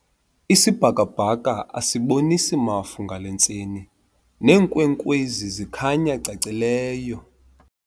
Isibhakabhaka asibonisi mafu ngale ntseni neenkwenkwezi zikhanya cacileyo.